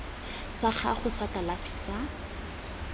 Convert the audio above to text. sa gago sa kalafi sa